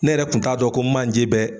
Ne yɛrɛ kun t'a dɔn ko manje bɛ